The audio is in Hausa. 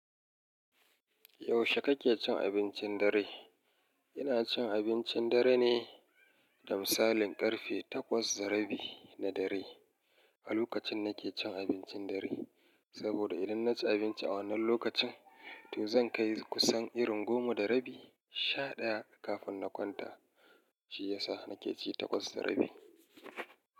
Yaushe kake cin abincin dare? Ina cin abincin dare ne da misalin ƙarfe takwas da rabi na dare a lokacin da nake cin abincin dare, saboda idan na ci abinci a wannan lokacin, to zan kai kusan irin goma da rabi sha ɗaya kafin na kwanta, shi ya sa na ke ci takwas da rabi.